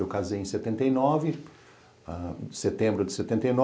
Eu casei em setenta e nove, setembro de setenta e